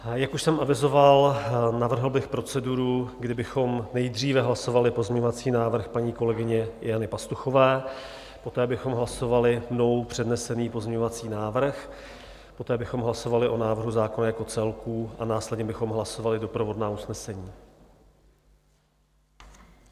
Jak už jsem avizoval, navrhl bych proceduru, kdy bychom nejdříve hlasovali pozměňovací návrh paní kolegyně Jany Pastuchové, poté bychom hlasovali mnou přednesený pozměňovací návrh, poté bychom hlasovali o návrhu zákona jako celku a následně bychom hlasovali doprovodná usnesení.